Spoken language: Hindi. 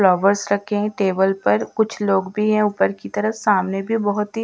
फ्लावर्स रखे है टेबल पर कुछ लोग भी है ऊपर की तरफ सामने भी बहोत ही --